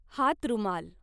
हातरुमाल